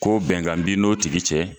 Ko bɛnkan b'i n'o tigi cɛ.